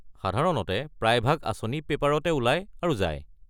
সাধাৰণতে প্ৰায়ভাগ আঁচনি পেপাৰতে ওলাই আৰু যায়।